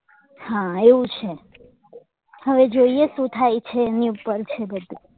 હા એવું છે હવે જોઈએ શું થાય છે એની ઉપર છે બધું